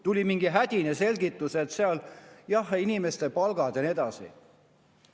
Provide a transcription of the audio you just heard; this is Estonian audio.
Tuli mingi hädine selgitus, et seal on inimeste palgad ja nii edasi.